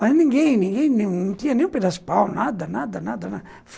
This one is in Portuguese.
Mas ninguém, ninguém, não tinha nenhum pedaço de pau, nada, nada, nada.